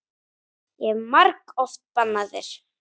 Ég hef margoft bannað þér.